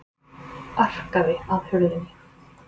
Arkaði að hurðinni.